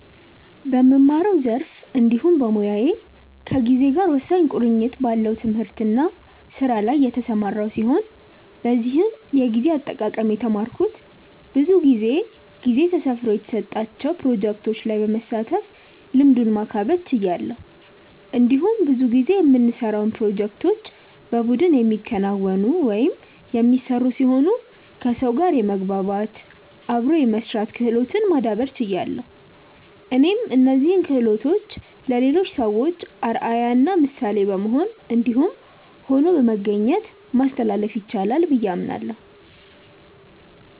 በምማረው ዘርፍ እንዲሁም በሞያዬ ከጊዜ ጋር ወሳኝ ቁርኝት ካለው ትምህርት እና ስራ ላይ የተሰማራው ሲሆን በዚህም የጊዜ አጠቃቀም የተማረኩት ብዙ ጊዜ ጊዜ ተሰፍሮ የተሰጣቸው ፕሮጀክቶች ላይ በመሳተፍ ልምዱን ማካበት ችያለሁ። እንዲሁም ብዙ ጊዜ የምንሰራውን ፕሮጀክቶች በቡድን የሚከናወኑ/የሚሰሩ ሲሆኑ ከሰው ጋር የመግባባት/አብሮ የመስራት ክህሎትን ማዳብር ችያለሁ። እኔም እነዚህን ክሆሎቶችን ለሌሎች ሰዎች አርአያ እና ምሳሌ በመሆን እንዲሁም ሆኖ በመገኘት ማስተላለፍ ይቻላል ብዬ አምናለሁ።